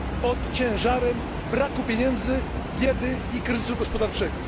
pod ciężarem braku pieniędzy, biedy i kryzysu gospodarczego.